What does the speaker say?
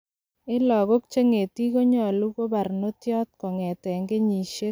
En logok che ngetik kolonyu koibarnotiot kogeten kenyisiek sogol akoi taman ak agnwan